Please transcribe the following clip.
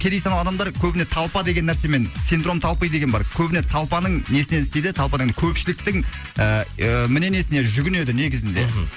кедей саналы адамдар көбіне толпа деген нәрсемен синдром толпы деген бар көбіне толпаның несінен істейді толпаның көпшіліктің ыыы мнениесіне жүгінеді негізінде мхм